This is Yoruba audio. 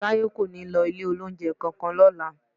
Táyé kò ní lọ ilé-olóunjẹ kankan lọ́la